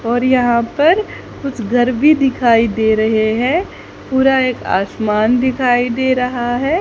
और यहां पर कुछ घर भी दिखाई दे रहे हैं पूरा एक आसमान दिखाई दे रहा है।